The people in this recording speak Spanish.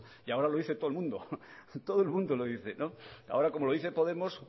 y ahora lo dice todo el mundo todo el mundo lo dice ahora como lo dice podemos